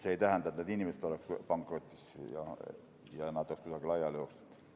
See ei tähenda, et need inimesed oleksid pankrotis ja nad oleksid laiali jooksnud.